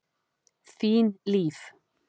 Þín Líf.